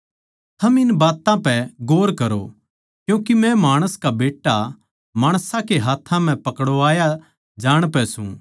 थम इन बात्तां पै गौर करो क्यूँके मै माणस का बेट्टा माणसां कै हाथ्थां म्ह पकड़वाया जाण पै सूं